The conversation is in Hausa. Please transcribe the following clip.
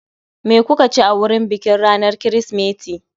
Me kuka ci a wurin bikin ranar Kirsimeti?